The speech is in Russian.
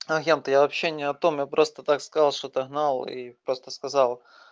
ян то я вообще не о том я просто так сказал что-то гнал и просто сказал